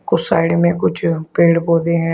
कुछ साइड में कुछ पेड़ पौधे हैं।